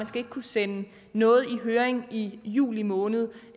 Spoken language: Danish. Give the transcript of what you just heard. skal kunne sende noget i høring i juli måned